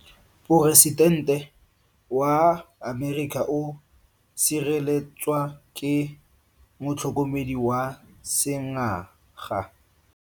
Poresitente wa Amerika o sireletswa ke motlhokomedi wa sengaga.